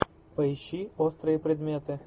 поищи острые предметы